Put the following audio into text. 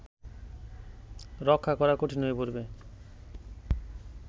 রক্ষা করা কঠিন হয়ে পড়বে